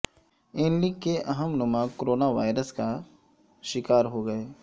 ن لیگ کے اہم ہنما کورونا وائرس کا شکار ہوگئے